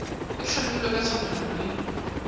di hlamilwe ka tshwanelo le